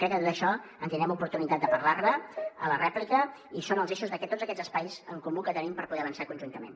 crec que de tot això tindrem l’oportunitat de parlar ne a la rèplica i són els eixos de tots aquests espais en comú els que tenim per poder avançar conjuntament